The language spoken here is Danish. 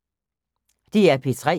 DR P3